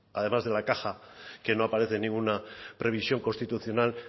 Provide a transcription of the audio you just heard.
además de la caja que no aparece en ninguna previsión constitucional